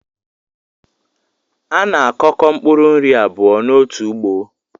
A na-akọko mpkuru nri abụọ n’otu ugbo